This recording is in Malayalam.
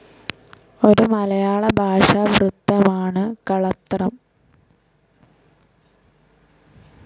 ഒരു മലയാള ഭാഷാ വൃത്തമാണ് കളത്രം.